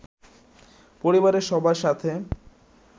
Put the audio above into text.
পরিবারের সবার সাথে